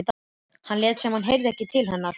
En hann lét sem hann heyrði ekki til hennar.